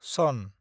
सन